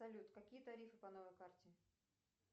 салют какие тарифы по новой карте